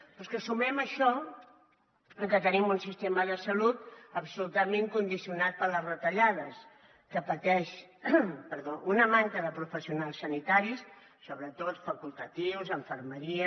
però és que sumem a això que tenim un sistema de salut absolutament condicionat per les retallades que pateix una manca de professionals sanitaris sobretot facultatius infermeria